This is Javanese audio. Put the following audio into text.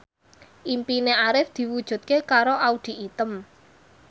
impine Arif diwujudke karo Audy Item